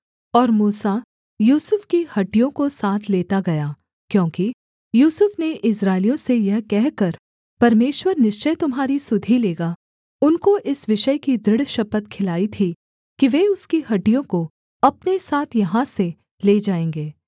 और मूसा यूसुफ की हड्डियों को साथ लेता गया क्योंकि यूसुफ ने इस्राएलियों से यह कहकर परमेश्वर निश्चय तुम्हारी सुधि लेगा उनको इस विषय की दृढ़ शपथ खिलाई थी कि वे उसकी हड्डियों को अपने साथ यहाँ से ले जाएँगे